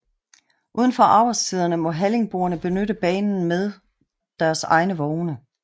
Udenfor arbejdstiderne må halligboerne benytte banen med deres egne vogne